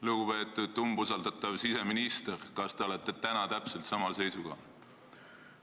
Lugupeetav umbusaldatav siseminister, kas te olete täna täpselt samal seisukohal?